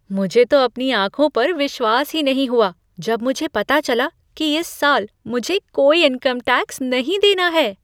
मुझे तो अपनी आँखों पर विश्वास ही नहीं हुआ जब मुझे पता चला कि इस साल मुझे कोई इनकम टैक्स नहीं देना है!